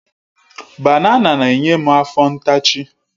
Banana na-enye m afọ ntachi.